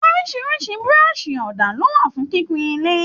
Orísirísi burọ̀sì òdà lo wà fún kíkún ilé.